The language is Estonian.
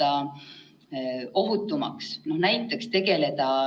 Teadusnõukoja hinnangul võiks eksamid korraldada juhul, kui olukord ei muutu halvemaks kui täna.